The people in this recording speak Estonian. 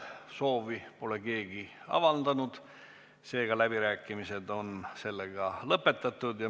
Soovi pole keegi avaldanud, seega läbirääkimisi ei avata.